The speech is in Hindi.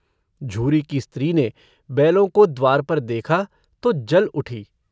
झूरी की स्त्री ने बैलों को द्वार पर देखा तो जल उठी।